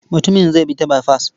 Mutumin zai bi ta baifas.